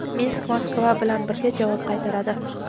Minsk Moskva bilan birga javob qaytaradi.